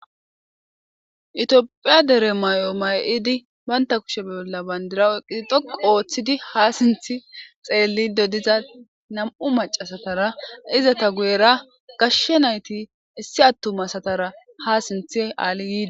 Tophiya dere mayo mayidi banta kueshe bolla bandira dhoqqu oothidi ha sinthe xellido diza nam'u macasatara bettetes izeta guyera gashe naytara ha sinthe alidi